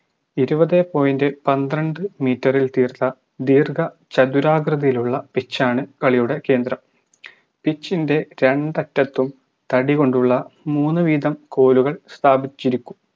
ഇരുപതേ point പന്ത്രണ്ട് meter ഇൽ തീർത്ത ദീർഘ ചതുരാകൃതിയിലുള്ള pitch ആണ് കളിയുടെ കേന്ദ്രം pitch ൻറെ രണ്ടറ്റത്തും തടികൊണ്ടുള്ള മൂന്നുവിതം കോലുകൾ സ്ഥാപിച്ചിരിക്കും